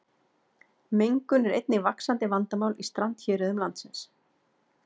Mengun er einnig vaxandi vandamál í strandhéruðum landsins.